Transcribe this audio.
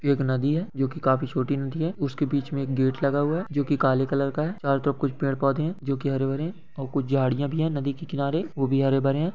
एक नदी है जो की काफी छोटी नदी है उसके बीच में एक गेट लगा हुआ है जो कि कल-कलर का है कर तो कुछ-- पेड़ पौधे है जो की हरे भरे है और कुछ झाड़ियां भी है नदी के किनारे वह भी हरे भरे--